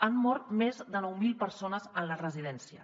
han mort més de nou mil persones en les residències